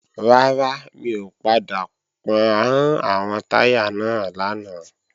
Rárá, mi ò padà pọ́n àwọn táyà náà lánàá